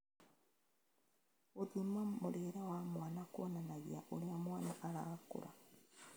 Gûthima mũrĩĩre wa mwana kuonanagia oũria mwana arakũra